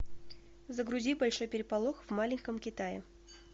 загрузи большой переполох в маленьком китае